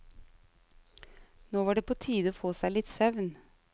Nå var det på tide å få seg litt søvn.